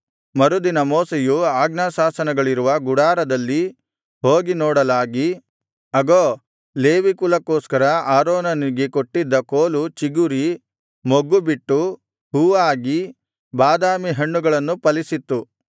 ಮರುದಿನ ಮೋಶೆಯು ಆಜ್ಞಾಶಾಸನಗಳಿರುವ ಗುಡಾರದಲ್ಲಿ ಹೋಗಿ ನೋಡಲಾಗಿ ಅಗೋ ಲೇವಿ ಕುಲಕ್ಕೋಸ್ಕರ ಆರೋನನಿಗೆ ಕೊಟ್ಟಿದ್ದ ಕೋಲು ಚಿಗುರಿ ಮೊಗ್ಗುಬಿಟ್ಟು ಹೂವಾಗಿ ಬಾದಾಮಿ ಹಣ್ಣುಗಳನ್ನು ಫಲಿಸಿತ್ತು